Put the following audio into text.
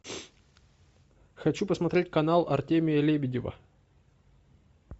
хочу посмотреть канал артемия лебедева